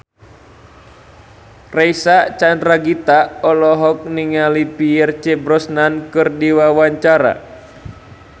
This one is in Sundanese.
Reysa Chandragitta olohok ningali Pierce Brosnan keur diwawancara